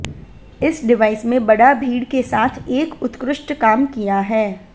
इस डिवाइस में बड़ा भीड़ के साथ एक उत्कृष्ट काम किया है